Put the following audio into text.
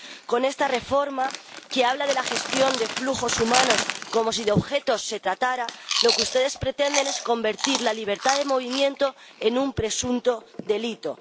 Con esta reforma, que habla de la gestión de flujos humanos como si de objetos se tratara, lo que ustedes pretenden es convertir la libertad de movimiento en un presunto delito.